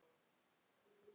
Þetta er rétt hjá mömmu.